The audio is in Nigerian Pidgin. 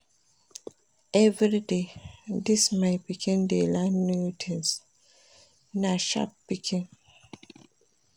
Everyday, dis my pikin dey learn new tins, na sharp pikin.